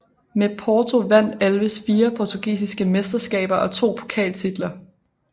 Med Porto vandt Alves fire portugisiske mesterskaber og to pokaltitler